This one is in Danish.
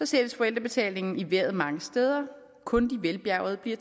sættes forældrebetalingen i vejret mange steder kun de velbjærgede bliver